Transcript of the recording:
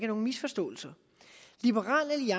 nogen misforståelser